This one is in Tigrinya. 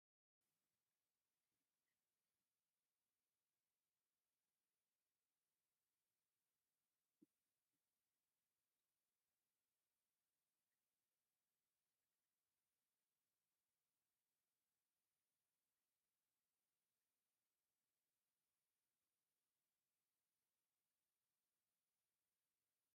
እዚ ጠረጴዛን ናይ ቤት ጽሕፈት መንበርን ዘርኢ እዩ። እቲ ጠረጴዛ ሰለስተ ሳጹናት ዘለዎ ኮይኑ እቲ መንበር ንጸጋምን ንየማንን ክሽክርከር ዝስተኻኸል እዩ። እዚ ጽሑፍ ወይ ስራሕ ክትጅምር ዘተባብዓካ ናይ ድልውነትን ሰላምን ስምዒት ዘርኢ እዩ።